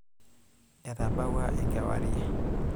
Etabawua enkewarie.